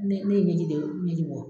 Ne ne ye ɲɛ de ɲɛji bɔ